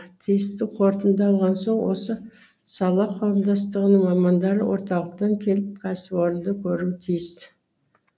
тиісті қорытынды алған соң осы сала қауымдастығының мамандары орталықтан келіп кәсіпорынды көруі тиіс